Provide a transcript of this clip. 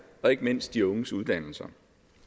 og ikke mindst de unges uddannelser